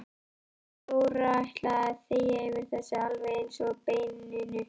Jóra ætlaði að þegja yfir þessu alveg eins og beininu.